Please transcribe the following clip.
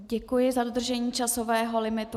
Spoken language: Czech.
Děkuji za dodržení časového limitu.